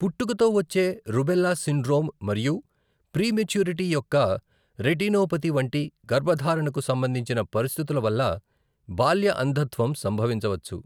పుట్టుకతో వచ్చే rubella syndrome మరియు ప్రీమెచ్యూరిటీ యొక్క రెటినోపతి వంటి గర్భధారణకు సంబంధించిన పరిస్థితుల వల్ల బాల్య అంధత్వం సంభవించవచ్చు.